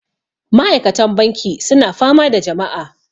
Ma'aikatan banki suna fama da jama'a